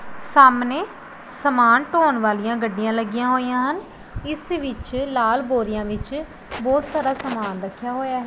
ਸਾਹਮਨੇ ਸਮਾਨ ਧੌਣ ਵਾਲੀਆਂ ਗੱਡੀਆਂ ਲੱਗੀਆਂ ਹੋਈਆਂ ਹਨ ਇੱਸ ਵਿੱਚ ਲਾਲ ਬੋਰੀਆਂ ਵਿੱਚ ਬਹੁਤ ਸਾਰਾ ਸਮਾਨ ਰੱਖਿਆ ਹੋਇਆ।